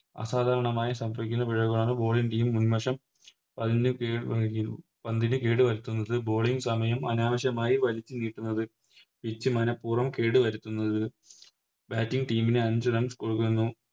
അസാധാരണമായി സംഭവിക്കുന്ന പിഴവുകളാണ് Bowling team മുൻവശം വന്ന് പന്തിന് കേട് വരുത്തുന്നത് Bowling സമയം അനാവശ്യമായി വലിച്ചുനീട്ടുന്നത് Pitch മനപ്പൂർവ്വം കേട് വരുത്തുന്നത് Bating team ന് അഞ്ച് Runs കൊടുക്കുന്നു